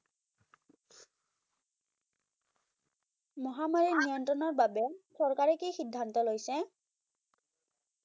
মহামাৰী নিয়ন্ত্ৰৰ বাবে চৰকাৰে কি সিদ্ধান্ত লৈছে